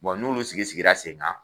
n'olu sigi sigira sen kan